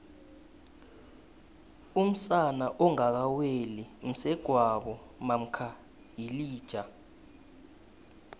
umsana ongaka weli msegwabo mamkha yilija